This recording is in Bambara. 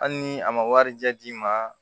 Hali ni a ma warijɛ d'i ma